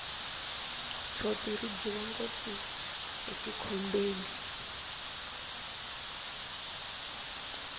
tshopi ri dyiwa ngopfu etikhombeni